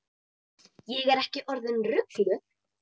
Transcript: Ég er ekki orðin rugluð.